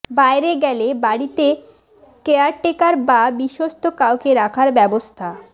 বাইরে গেলে বাড়িতে কেয়ারটেকার বা বিশ্বস্ত কাউকে রাখার ব্যবস্থা